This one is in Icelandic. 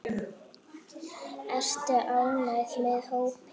Ertu ánægður með hópinn?